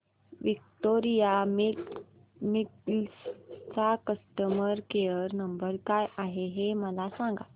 Victoria Mills चा customer care number काय आहे हे मला सांगा